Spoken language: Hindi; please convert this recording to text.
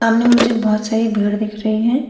सामने मुझे बहुत सारी भीड़ दिख रही है।